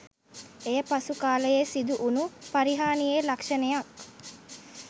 එය පසු කාලයේ සිදුවුණු පරිහානියේ ලක්‍ෂණයක්